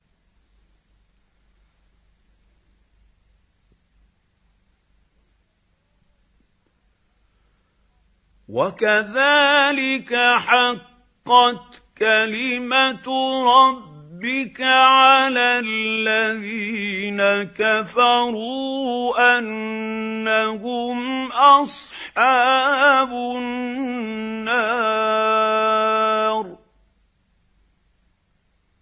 وَكَذَٰلِكَ حَقَّتْ كَلِمَتُ رَبِّكَ عَلَى الَّذِينَ كَفَرُوا أَنَّهُمْ أَصْحَابُ النَّارِ